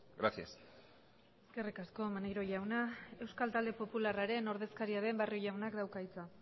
gracias eskerrik asko maneiro jauna euskal talde popularraren ordezkaria den barrio jaunak dauka hitza